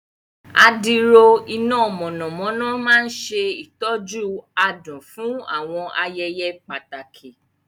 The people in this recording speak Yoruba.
Adiro iná mọ̀nàmọ́ná máa ń ṣe ìtọ́jú adùn fún àwọn ayẹyẹ pàtàkì.